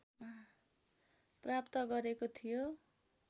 प्राप्त गरेको थियो